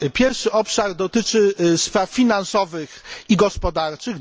Pierwszy obszar dotyczy spraw finansowych i gospodarczych.